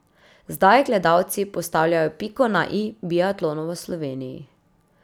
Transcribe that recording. Zdaj gledalci postavljajo piko na i biatlonu v Sloveniji.